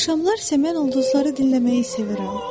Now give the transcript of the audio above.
Axşamlar isə mən ulduzları dinləməyi sevirəm.